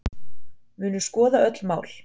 Munu skoða öll mál